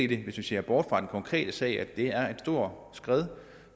det hvis vi ser bort fra den konkrete sag er et stort skred